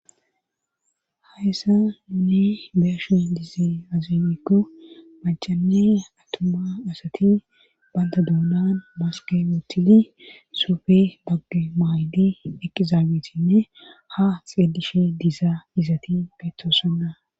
Hayssa nuuni beeshe diize azemikko machane atuma asati banda duunan maskewotili soofe bagge maaydi eqizaabitinne ha xeelishe dizaa izati getto sonna